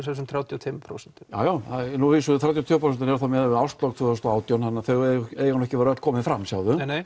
þessum þrjátíu og tvö prósent jájá þrjátíu og tvö prósent eru að miðuð við árslok tvö þúsund og átján þannig þau eiga nú ekki öll að vera komin fram sjáðu